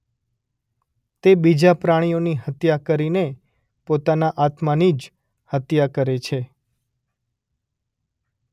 તે બીજા પ્રાણીઓ ની હત્યા કરીને પોતાના આત્માની જ હત્યા કરે છે.